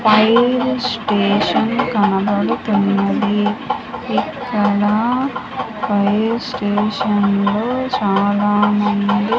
fire station కనబడుతున్నది ఇక్కడ fire station లో చాలామంది--